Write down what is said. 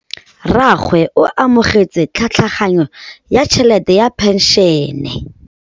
Rragwe o amogetse tlhatlhaganyô ya tšhelête ya phenšene.